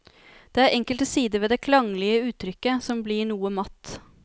Det er enkelte sider ved det klanglige uttrykket som blir noe matt.